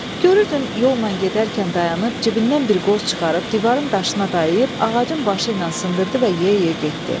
Görürdün yolla gedərkən dayanıb, cibindən bir qoz çıxarıb divarın daşına dayayıb, ağacın başı ilə sındırdı və yeyə-yeyə getdi.